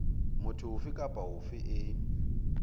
motho ofe kapa ofe e